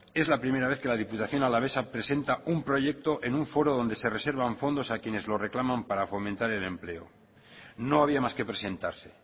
es la primera vez que la diputación alavesa presenta un proyecto en un foro donde se reservan fondos a quienes lo reclaman para fomentar el empleo no había más que presentarse